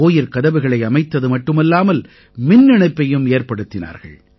கோயிற்கதவுகளை அமைத்தது மட்டுமல்லாமல் மின்னிணைப்பும் ஏற்படுத்தினார்கள்